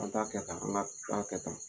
An t'a kɛtan an k'a kɛtan